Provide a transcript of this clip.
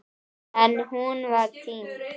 En hún var týnd.